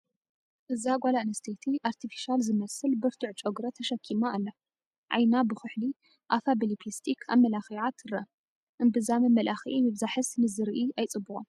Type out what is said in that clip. እዛ ጓለ ኣነስተይቲ ኣርቴፊሻለ ዝመስል ብርቱዕ ጨጉሪ ተሸኪማ ኣላ፡፡ ዓይና ብኹሕሊ፣ ኣፋ ብሊፕስቲክ ኣመላኪዓ ትርአ፡፡ እምብዛ መመላክዒ ምብዛሕስ ንዝርኢ ኣይፅቡቕን፡፡